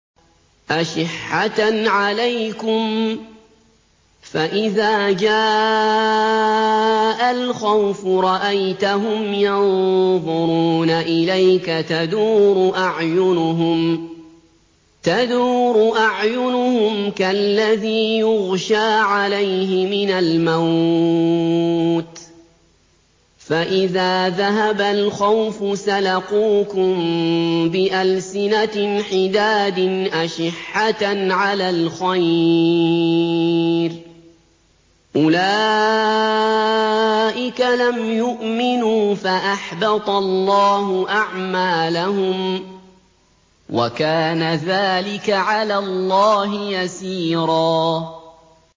أَشِحَّةً عَلَيْكُمْ ۖ فَإِذَا جَاءَ الْخَوْفُ رَأَيْتَهُمْ يَنظُرُونَ إِلَيْكَ تَدُورُ أَعْيُنُهُمْ كَالَّذِي يُغْشَىٰ عَلَيْهِ مِنَ الْمَوْتِ ۖ فَإِذَا ذَهَبَ الْخَوْفُ سَلَقُوكُم بِأَلْسِنَةٍ حِدَادٍ أَشِحَّةً عَلَى الْخَيْرِ ۚ أُولَٰئِكَ لَمْ يُؤْمِنُوا فَأَحْبَطَ اللَّهُ أَعْمَالَهُمْ ۚ وَكَانَ ذَٰلِكَ عَلَى اللَّهِ يَسِيرًا